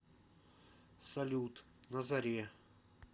салют на заре